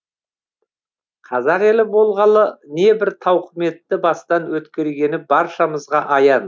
қазақ ел болғалы небір тауқыметті бастан өткергені баршамызға аян